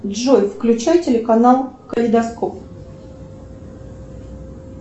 джой включай телеканал калейдоскоп